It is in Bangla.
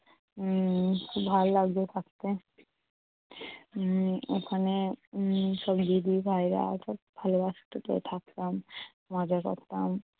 উম খুব ভালো লাগতো থাকতে উম ওখানে উম সব দিদি ভাইয়েরা সব ভালোবাসত তো থাকতাম মজা করতাম